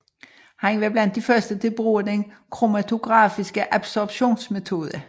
Han var blandt de første til at bruge den kromatografiske adsorptionsmetode